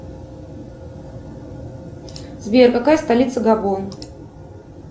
сбер какая столица габон